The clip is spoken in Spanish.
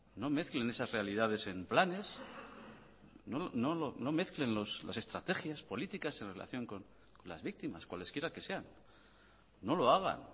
no mezclen esas realidades en planes no mezclen las estrategias políticas en relación con las víctimas cuales quiera que sean no lo hagan